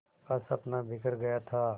का सपना बिखर गया था